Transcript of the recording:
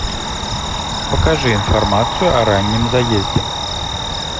покажи информацию о раннем заезде